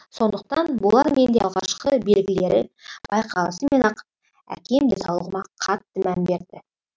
сондықтан болар менде алғашқы белгілері байқалысымен ақ әкем денсаулығыма қатты мән берді